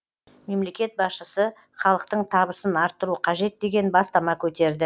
мемлекет басшысы халықтың табысын арттыру қажет деген бастама көтерді